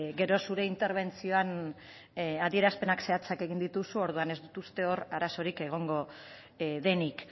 gero zure interbentzioan adierazpen zehatzak egin dituzu orduan ez dut uste hor arazorik egongo denik